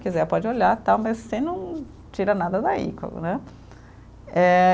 Quiser pode olhar e tal, mas você não tira nada daí. Né eh